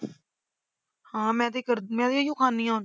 ਹਾਂ ਮੈਂ ਤੇ ਕਰ ਮੈਂ ਵੀ ਇਹਨੂੰ ਖਾਂਦੀ ਹਾਂ।